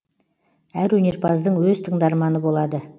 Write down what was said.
әр өнерпаздың өз тыңдарманы болады